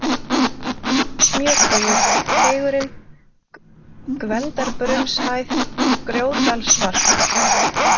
Smjörteigur, Teigurinn, Gvendarbrunnshæð, Grjótdalsvarp